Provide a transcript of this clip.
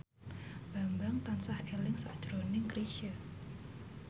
Bambang tansah eling sakjroning Chrisye